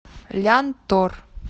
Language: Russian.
лянтор